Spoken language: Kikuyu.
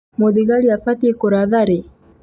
Mũthigarĩ abatiĩ kũratha rĩĩ?